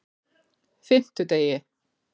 fimmtudegi